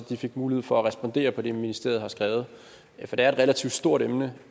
de fik mulighed for at respondere på det ministeriet har skrevet for det er et relativt stort emne